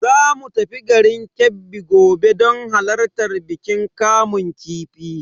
Zamu tafi garin Kebbi gobe don halartar bikin kamun kifi.